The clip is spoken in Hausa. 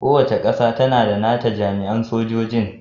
Kowace ƙasa tAna da nata jami'an sojojin